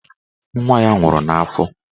Nwa ya nwụrụ n'afọ.